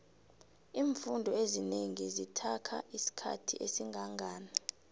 imfundo ezinengi zithakha isikhathi esingangani